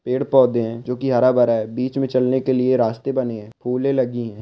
पेड़-पौधे हैं जो कि हरा-भरा हैं बीच में चलने के लिए रास्ते बने हैं फूले लगी हैं।